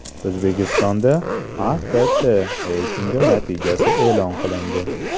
O‘zbekistonda AKT reytingi natijasi e’lon qilindi.